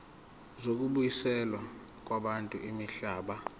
zokubuyiselwa kwabantu imihlaba